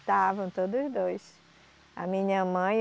Estavam, todos dois, a minha mãe